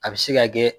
A bɛ se ka kɛ